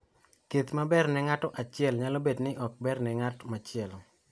Thieth ma ber ne ng�ato achiel nyalo bedo ni ok ber ne ng�at machielo.